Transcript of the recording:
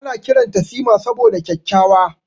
Ana kiranta Sima saboda kyakkyawa.